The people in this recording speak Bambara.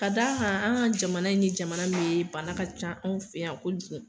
Ka d'a kan an ka jamana nin ye jamana min ye bana ka can anw fɛ yan ko jugu.